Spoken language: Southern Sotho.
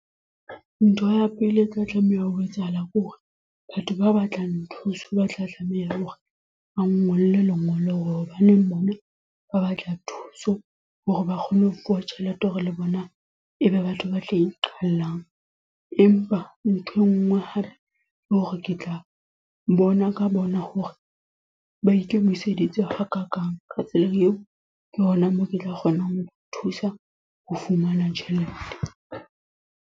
Ntho ya pele e tla tlameha ho etsahala kore, batho ba batlang thuso. Ba tla tlameha hore ba nngolle lengolo hore hobaneng bona ba batla thuso. Hore ba kgone ho fuwa tjhelete hore le bona e be batho ba tla iqallang. Empa nthwe ngwe hape le hore ke tla bona ka bona hore ba ikemiseditse hakakang. Ka tsela eo, ke hona moo ke tla kgonang ho thusa ho fumana tjhelete.